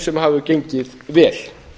sem hefur gengið vel